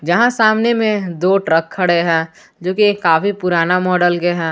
जहां सामने में दो ट्रक खड़े हैं जो की काफी पुराना मॉडल के हैं।